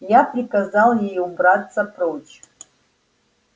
я приказал ей убраться прочь